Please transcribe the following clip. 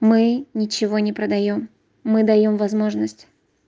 мы ничего не продаём мы даём возможность